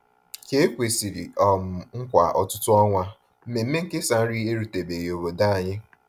Ka e kwesịrị um nkwa ọtụtụ ọnwa, mmemme nkesa nri erutebeghị obodo anyị.